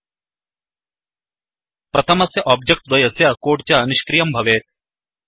प्रथमस्य ओब्जेक्ट् द्वयस्य कोड् च निष्क्रियं भवेत्